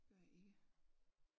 Gør jeg ikke